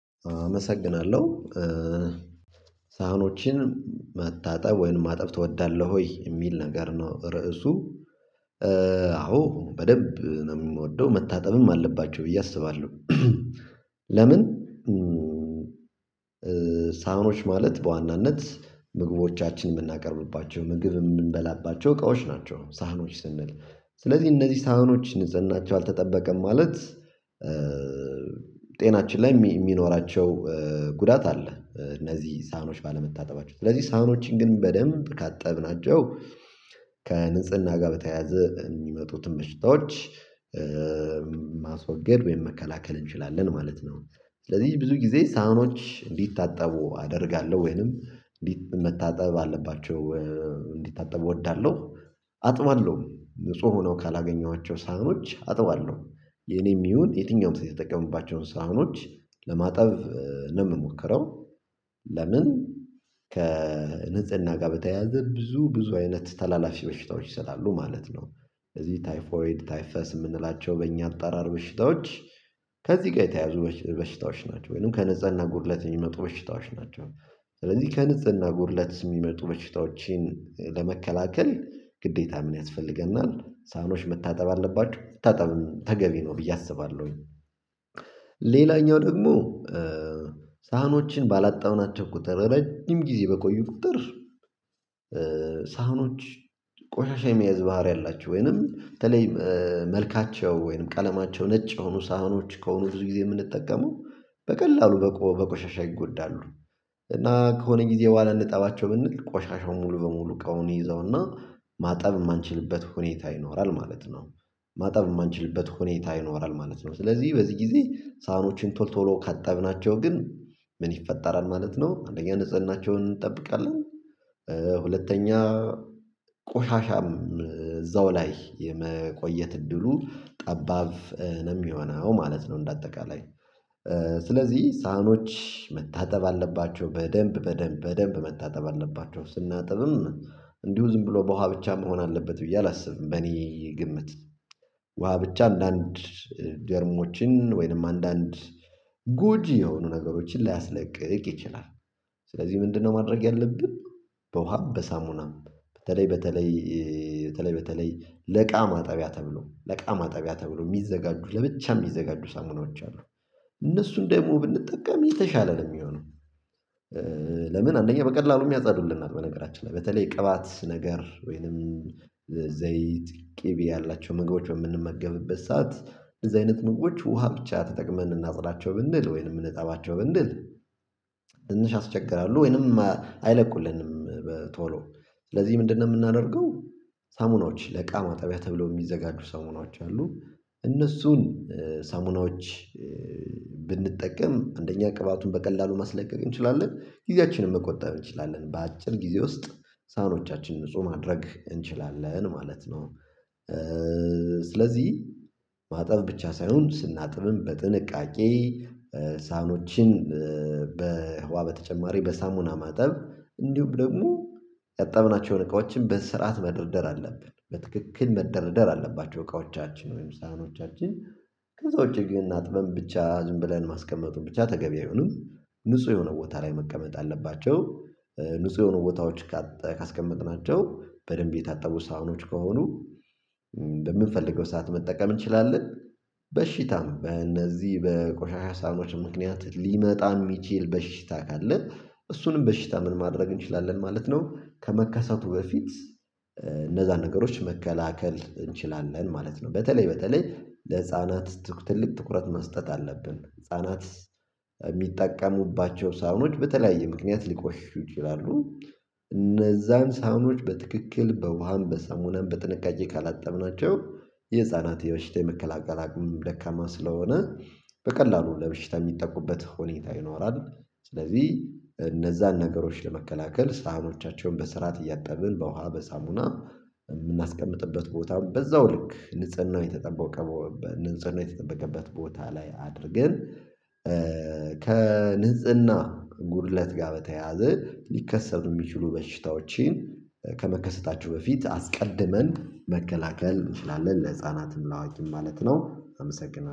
አመሰግናለሁ። ሳህኖችን መታጠብ ወይንም ማጠብ ትወዳለህ ወይ የሚል ነገር ነው? ርዕሱ አዎ በደንብ የምወደው መታጠብም አለባቸው ብዬ አስባለሁ። ለምን? ሳህኖች ማለት በዋናነት ምግቦቻችንን የምናቀርብባቸው ምግብ የምንበላባቸው እቃዎች ናቸው ሳህኖች ስንል ስለዚህ እነዚህ ሳህኖች ንፅናቸው አልተጠበቀም ማለት። ጤናችን ላይ የሚኖራቸው ጉዳት አለ እነዚህ ሳኖች ባለመታጠባቸው ስለዚህ ሳኖችን ግን በደንብ ካጠብናቸው ከንጽህና ጋር በተያያዘ የሚመጡትን በሽታዎች። ማስወገድ ወይም መከላከል እንችላለን ማለት ነው። ስለዚህ ብዙ ጊዜ ሳህኖች እንዲታጠቡ አደርጋለሁ ወይንም መታጠብ አለባቸው እንዲታጠቡ እወዳለሁ። አጥባለሁ ንጹህ ሆኖ ካላገኘኋቸው ሳህኖች አጥበዋለሁ የኔም ይሁን የትኛውም ሰው የተጠቀሙባቸውን ሳህኖች ለማጠብ ነው የምሞክረው። ለምን? ከንጽህና ጋር በተያያዘ ብዙ ብዙ አይነት ተላላፊ በሽታዎች ስላሉ ማለት ነው። በዚህ ታይፎይድ ታይፈስ የምንላቸው በእኛ አጠራር በሽታዎች ከዚህ ጋር የተያዙ በሽታዎች ናቸው ወይንም ከንጽህና ጉድለት የሚመጡ በሽታዎች ናቸው። ስለዚህ ከንጽህና ጉድለት የሚመጡ በሽታዎችን ለመከላከል ግዴታ ምን ያስፈልገናል ሳህኖች መታጠብ አለባችሁ መታጠብም ተገቢ ነው ብዬ አስባለሁኝ። ሌላኛው ደግሞ ሳህኖችን ባላጠብናቸው ቁጥር ረጅም ጊዜ በቆዩ ቁጥር። ሳህኖች ቆሻሻ የመያዝ ባህሪ አላቸው ወይንም በተለይ መልካቸው ወይንም ቀለማቸው ነጭ የሆኑ ሳህኖች ከሆኑ ብዙ ጊዜ የምንጠቀመው በቀላሉ በቆሻሻ ይጎዳሉ። እና ከሆነ ጊዜ በኋላ ልጠባቸው ብንል ቆሻሻው ሙሉ በሙሉ እቃውን ይዘውና ማጠብ የማንችልበት ሁኔታ ይኖራል ማለት ነው። ማጠብ የማንችልበት ሁኔታ ይኖራል ማለት ነው። ስለዚህ በዚህ ጊዜ ሳህኖችን ቶሎ ቶሎ ካጠብናቸው ግን ምን ይፈጠራል? ማለት ነው አንደኛ ንጽህናቸውን እንጠብቃለን። ሁለተኛ ቆሻሻም እዛው ላይ የመቆየት እድሉ ጠባብ ነው የሚሆነው ማለት ነው። እንደ አጠቃላይ ስለዚህ ሳህኖች መታጠብ አለባቸው በደንብ በደንብ በደንብ መታጠብ አለባቸው። ስናጥብም እንዲሁ ዝም ብሎ በውሃ ብቻ መሆን አለበት ብዬ አላስብም። በእኔ ግምት ውሃ ብቻ አንዳንድ ጀርሞችን ወይንም አንዳንድ ጎጂ የሆኑ ነገሮችን ላያስለቅቅ ይችላል። ስለዚህ ምንድነው ማድረግ ያለብን? በውሃም በሳሙናም በተለይ በተለይ በተለይ ለእቃ ማጠቢያ ተብሎ ለእቃ ማጠቢያ ተብሎ የሚዘጋጁ ለብቻ የሚዘጋጁ ሳሙናዎች አሉ። እነሱን ደግሞ ብንጠቀም የተሻለ ነው የሚሆነው። ለምን? አንደኛ በቀላሉም ያጸዱልናል በነገራችን ላይ በተለይ ቅባት ነገር ወይንም ዘይት ቅቤ ያላቸው ምግቦች በምንመገብበት ሰዓት እንደዛ አይነት ምግቦች ውሃ ብቻ ተጠቅመን እናጽዳቸው ብንል ወይንም እንጠባቸው ብንል። ትንሽ ያስቸግራሉ ወይንም አይለቁልንም። ቶሎ ስለዚህ ምንድነው የምናደርገው? ሳሙናዎች ለእቃ ማጠቢያ ተብሎ የሚዘጋጁ ሳሙናዎች አሉ። እነሱን ሳሙናዎች ብንጠቀም አንደኛ ቅባቱን በቀላሉ ማስለቀቅ እንችላለን ጊዜያችንን መቆጠብ እንችላለን በአጭር ጊዜ ውስጥ ሳህኖቻችን ንጹህ ማድረግ እንችላለን ማለት ነው። ስለዚህ ማጠብ ብቻ ሳይሆን ስናጥብም በጥንቃቄ ሳህኖችን በውሃ በተጨማሪ በሳሙና ማጠብ እንዲሁም ደግሞ ያጠብናቸውን እቃዎችን በስርዓት መደርደር አለብን በትክክል መደርደር አለባቸው እቃዎቻችን ወይም ሳህኖቻችን። ከዛ ውጪ ግን አጥበን ብቻ ዝም ብለን ማስቀመጡን ብቻ ተገቢ አይሆንም። ንጹህ የሆነ ቦታ ላይ መቀመጥ አለባቸው። ንጹህ የሆነ ቦታዎች ካስቀመጥናቸው በደንብ የታጠቡ ሳህኖች ከሆኑ በምንፈልገው ሰዓት መጠቀም እንችላለን። በሽታም በእነዚህ በቆሻሻ ሳህኖች ምክንያት ሊመጣ የሚችል በሽታ ካለ እሱንም በሽታ ምን ማድረግ እንችላለን ማለት ነው። ከመከሰቱ በፊት እነዛን ነገሮች መከላከል እንችላለን ማለት ነው። በተለይ በተለይ ለህፃናት ትልቅ ትኩረት መስጠት አለብን ህፃናት የሚጠቀሙባቸው ሳህኖች በተለያየ ምክንያት ሊቆሽሹት ይችላሉ። እነዛን ሳህኖች በትክክል በውሃም በሳሙናም በጥንቃቄ ካላጠብናቸው የህፃናት የበሽታ የመከላከል አቅምም ደካማ ስለሆነ በቀላሉ ለበሽታ የሚጠቁበት ሁኔታ ይኖራል። ስለዚህ እነዛን ነገሮች ለመከላከል ሳህኖቻቸውን በሰርዓት እያጠብን በውሃ በሳሙና የምናስቀምጥበት ቦታ በዛው ልክ ንጽህናው የተጠበቀበት ንጽህናው የተጠበቀበት ቦታ ላይ አድርገን ከንጽህና ጉድለት ጋር በተያያዘ ሊከሰቱ የሚችሉ በሽታዎችን ከመከሰታቸው በፊት አስቀድመን መከላከል እንችላለን ለህፃናትም ለአዋቂም ማለት ነው። አመሰግናለሁ